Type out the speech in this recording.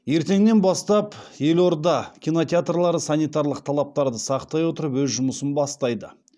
ертеңнен бастап елорда кинотеатрлары санитарлық талаптарды сақтай отырып өз жұмысын бастайды